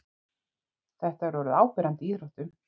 þetta er orðið áberandi í íþróttum